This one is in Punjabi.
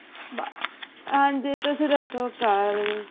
ਹਾਂਜੀ ਤੁਸੀਂ ਦੱਸੋ ਘਰ